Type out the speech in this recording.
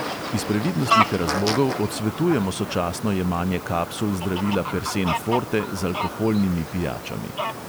Iz previdnostnih razlogov odsvetujemo sočasno jemanje kapsul zdravila persen forte z alkoholnimi pijačami.